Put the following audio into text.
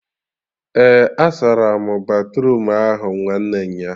Eh, asaram batruum ahụ nwanne nyaa